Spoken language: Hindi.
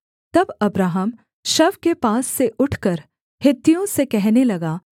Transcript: तब अब्राहम शव के पास से उठकर हित्तियों से कहने लगा